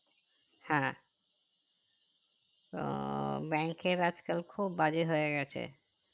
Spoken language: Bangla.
হ্যাঁ আহ bank এর আজকাল খুব বাজে হয়ে গেছে